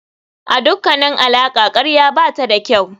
A dukkanin alaƙa karya bata da kyau.